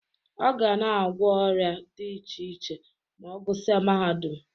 Ọ ga na-agwọ ọrịa dị iche iche ma ọ gụsịa mahadum.